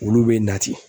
Olu bɛ na ten